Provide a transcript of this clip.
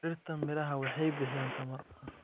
Dhirta miraha waxay bixiyaan tamar.